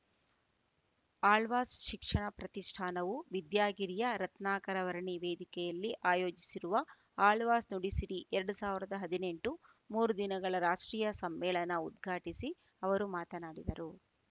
ಆಳ್ವಾಸ್‌ ಶಿಕ್ಷಣ ಪ್ರತಿಷ್ಠಾನವು ವಿದ್ಯಾಗಿರಿಯ ರತ್ನಾಕರವರ್ಣಿ ವೇದಿಕೆಯಲ್ಲಿ ಆಯೋಜಿಸಿರುವ ಆಳ್ವಾಸ್‌ ನುಡಿಸಿರಿ ಎರಡು ಸಾವಿರದ ಹದಿನೆಂಟು ಮೂರು ದಿನಗಳ ರಾಷ್ಟ್ರೀಯ ಸಮ್ಮೇಳನ ಉದ್ಘಾಟಿಸಿ ಅವರು ಮಾತನಾಡಿದರು